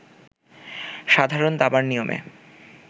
সাধারণ দাবার নিয়মে